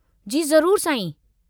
जी ज़रूरु, साईं।